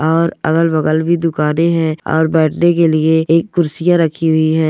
और अगल-बगल भी दुकाने है और बैठने के लिए एक कुर्सियां रखी हुई है।